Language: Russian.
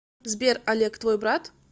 сбер олег твой брат